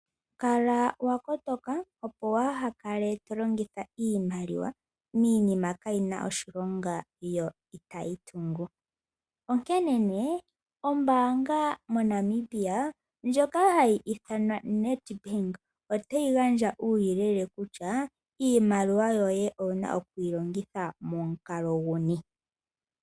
Kala wakotoka opo waahakale to longitha iimaliwa, miinima kaayina oshilonga yo itayi tungu, onkene née ombanga yaNamibia otayi gandja uuyelele kutya iimaliwa yoye owuna okwiilongitha momukalo nguli ngiini.